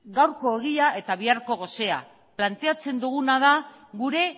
gaurko ogia eta biharko gosea planteatzen duguna da gure